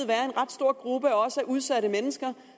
være en ret stor gruppe af udsatte mennesker